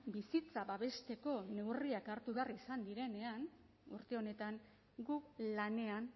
bizitza babesteko neurriak hartu behar izan direnean urte honetan gu lanean